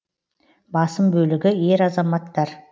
басым бөлігі ер азаматтар